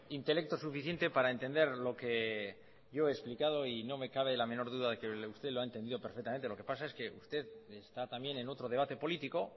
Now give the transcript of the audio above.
intelecto suficiente para entender lo que he explicado y no me cabe la menor duda de que usted lo ha entendido perfectamente lo que pasa es que usted está también en otro debate político